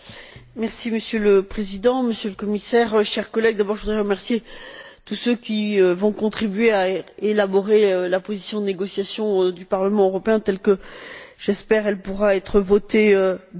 Monsieur le Président, Monsieur le Commissaire, chers collègues, je voudrais d'abord remercier tous ceux qui vont contribuer à élaborer la position de négociation du Parlement européen telle que, je l'espère, elle pourra être votée demain.